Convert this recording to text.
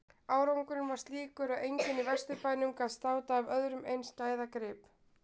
Árangurinn var slíkur að enginn í Vesturbænum gat státað af öðrum eins gæðagrip.